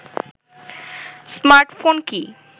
smartphone কি